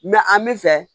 an bɛ fɛ